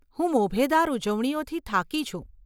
હું મોભેદાર ઉજવણીઓથી થાકી છું.